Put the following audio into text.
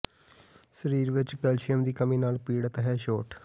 ਸਰੀਰ ਵਿੱਚ ਕੈਲਸ਼ੀਅਮ ਦੀ ਕਮੀ ਨਾਲ ਪੀੜਤ ਹੈ ਛੋਟ